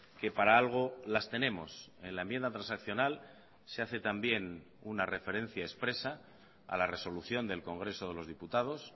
que para algo las tenemos en la enmienda transaccional se hace también una referencia expresa a la resolución del congreso de los diputados